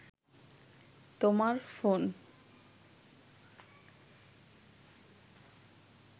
তোমার ফোন